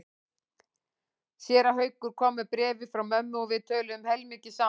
Séra Haukur kom með bréfið frá mömmu og við töluðum heilmikið saman.